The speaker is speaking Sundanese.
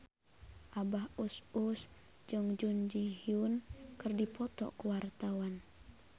Abah Us Us jeung Jun Ji Hyun keur dipoto ku wartawan